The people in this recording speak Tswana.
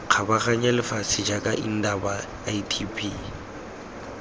kgabaganya lefatshe jaaka indaba itb